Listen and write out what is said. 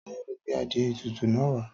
Táyò gbé adìe ètùtù náà wà